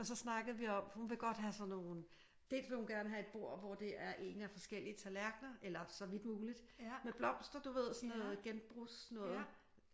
Og så snakkede vi om hun vil godt have sådan nogle dels vil hun gerne have et bord hvor det er ene forskellige tallerkener eller så vidt muligt med blomster du ved sådan noget genbrugs noget